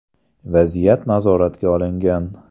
Vaziyat nazoratga olingan.